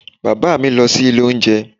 Bàbá mi lọ sí ilé oúnjẹ